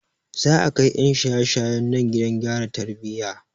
Za a kai 'yan shaye shayen nan gidan gyara tarbiyya.